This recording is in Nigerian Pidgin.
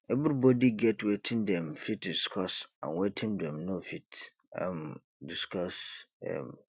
everybody get wetin dem fit discuss and wetin dem no fit um discuss um